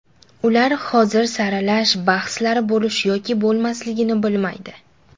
Ular hozir saralash bahslari bo‘lish yoki bo‘lmasligini bilmaydi.